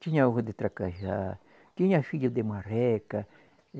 Tinha ovo de tracajá, tinha filho de marreca.